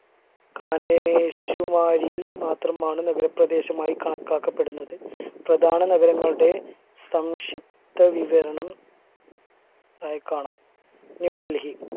കാനേ ശിവാരിയിൽ മാത്രമാണ് നഗരപ്രദേശമായി കണക്കാക്കപ്പെടുന്നത് പ്രധാന നഗരങ്ങളുടെ സംഷിപ്തവിവരണം ആയി കാണാം ന്യൂഡൽഹി